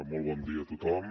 molt bon dia a tothom